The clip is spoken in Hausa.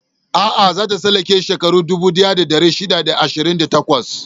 A'a, za ta tsallake shekaru dubu ɗaya da ɗari shida da ashirin da takwas.